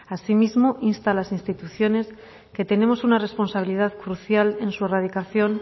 asimismo insta a las instituciones que tenemos una responsabilidad crucial en su erradicación